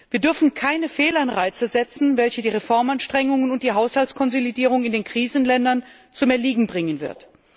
Wir dürfen keine Fehlanreize setzen, welche die Reformanstrengungen und die Haushaltskonsolidierung in den Krisenländern zum Erliegen bringen wird.